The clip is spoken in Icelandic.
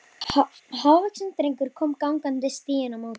Hávaxinn drengur kom gangandi stíginn á móti honum.